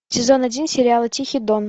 сезон один сериала тихий дон